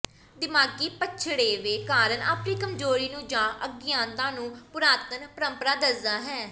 ਦਿਮਾਗ਼ੀ ਪਛੜੇਵੇਂ ਕਾਰਨ ਅਪਣੀ ਕਮਜ਼ੋਰੀ ਨੂੰ ਜਾਂ ਅਗਿਆਨਤਾ ਨੂੰ ਪੁਰਾਤਨ ਪ੍ਰੰਪਰਾ ਦਸਦਾ ਹੈ